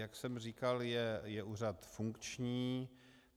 Jak jsem říkal, je úřad funkční.